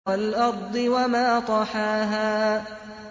وَالْأَرْضِ وَمَا طَحَاهَا